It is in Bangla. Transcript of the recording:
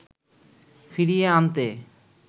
ফিরিয়ে আনতে